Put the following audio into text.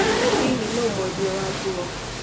Hihi nĩ ũĩ mwendia wa nguo?